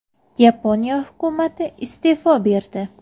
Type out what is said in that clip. Yaponiya hukumati iste’fo berdi.